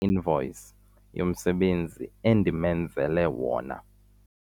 invoyisi yomsebenzi endimenzele wona.